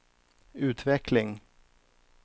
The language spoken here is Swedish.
utveckling